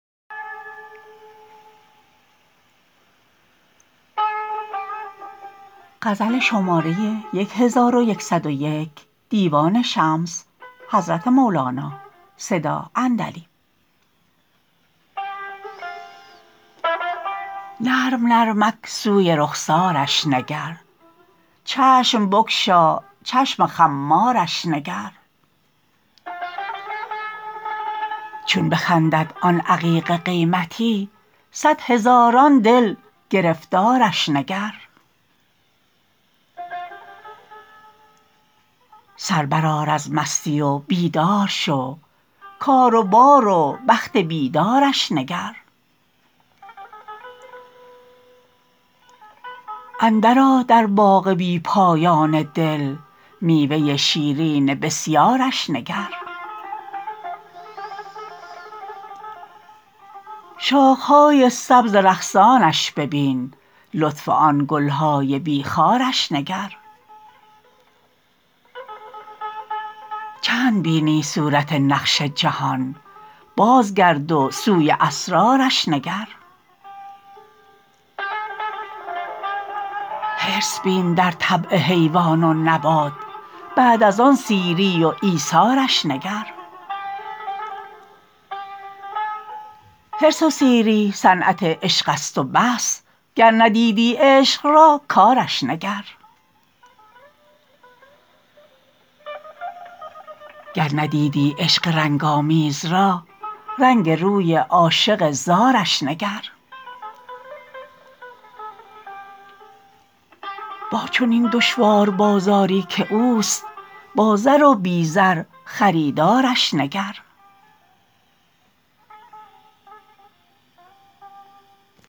نرم نرمک سوی رخسارش نگر چشم بگشا چشم خمارش نگر چون بخندد آن عقیق قیمتی صد هزاران دل گرفتارش نگر سر برآر از مستی و بیدار شو کار و بار و بخت بیدارش نگر اندرآ در باغ بی پایان دل میوه شیرین بسیارش نگر شاخه های سبز رقصانش ببین لطف آن گل های بی خارش نگر چند بینی صورت نقش جهان بازگرد و سوی اسرارش نگر حرص بین در طبع حیوان و نبات بعد از آن سیری و ایثارش نگر حرص و سیری صنعت عشقست و بس گر ندیدی عشق را کارش نگر گر ندیدی عشق رنگ آمیز را رنگ روی عاشق زارش نگر با چنین دشوار بازاری که اوست با زر و بی زر خریدارش نگر